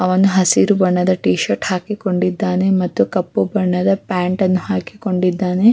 ಮತ್ತೆ ಆಮೇಲೆ ಕೂಡ ಫ್ಯಾಮಿಲಿ ಟ್ರಿಪ್ ಅಂತ ಎಲ್ಲ ಹೋಗ್ತ ಇದ್ವಿ.